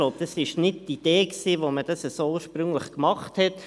Ich denke, das war nicht die Idee, als man dies ursprünglich so machte.